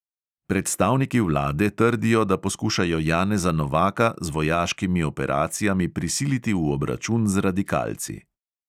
Predstavniki vlade trdijo, da poskušajo janeza novaka z vojaškimi operacijami prisiliti v obračun z radikalci.